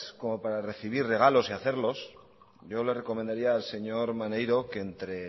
como para recibir regalos y hacerlos yo le recomendaría al señor maneiro que entre